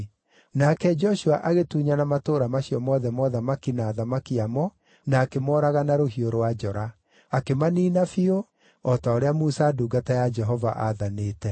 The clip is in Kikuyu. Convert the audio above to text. Nake Joshua agĩtunyana matũũra macio mothe ma ũthamaki na athamaki a mo, na akĩmooraga na rũhiũ rwa njora. Akĩmaniina biũ, o ta ũrĩa Musa ndungata ya Jehova aathanĩte.